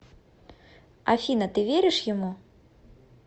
афина ты веришь ему